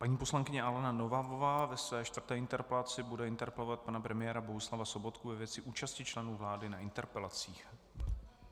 Paní poslankyně Alena Nohavová ve své čtvrté interpelaci bude interpelovat pana premiéra Bohuslava Sobotku ve věci účasti členů vlády na interpelacích.